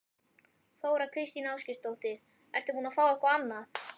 Þóra Kristín Ásgeirsdóttir: Ertu búinn að fá eitthvað annað?